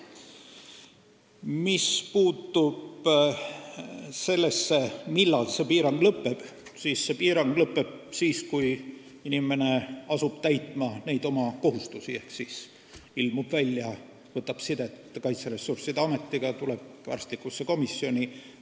Mis puutub sellesse, millal see piirang lõpeb, siis see lõpeb siis, kui inimene asub täitma oma kohustusi ehk ilmub välja, võtab ühendust Kaitseressursside Ametiga ja tuleb arstlikku komisjoni.